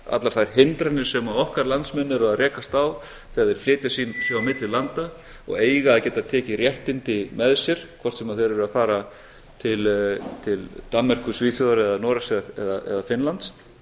allar þær hindranir sem okkar landsmenn eru að rekast á þegar þeir flytja sig á milli landa og eiga að geta tekið réttindi með sér hvort sem þeir eru að fara til danmerkur svíþjóðar eða noregs eða finnlands að